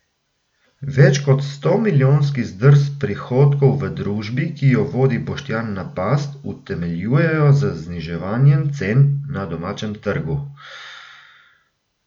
Več kot stomilijonski zdrs prihodkov v družbi, ki jo vodi Boštjan Napast, utemeljujejo z zniževanjem cen na domačem trgu.